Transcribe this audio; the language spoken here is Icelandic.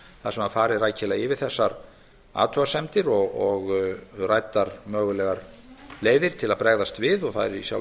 þar sem farið var rækilega yfir þessar athugasemdir og ræddar mögulegar leiðir til að bregðast við og það er í sjálfu